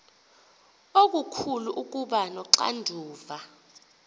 okukhulu ukuba noxanduva